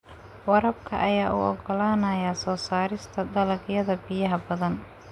Waraabka ayaa u oggolaanaya soo saarista dalagyada biyaha-badan.